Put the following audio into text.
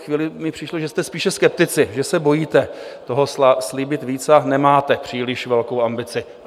Chvíli mi přišlo, že jste spíše skeptici, že se bojíte toho slíbit víc, nemáte příliš velkou ambici.